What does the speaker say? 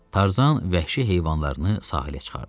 Tarzan vəhşi heyvanlarını sahilə çıxardı.